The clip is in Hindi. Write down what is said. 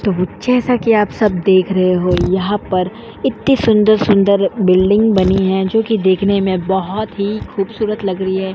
तो जैसा कि आप सब लोग देख रहे हो यहाँ पर इत्ती सुंदर - सुंदर बिल्डिंग बनी हैं जोकि देखने में बहोत ही खूबसूरत लग रही है।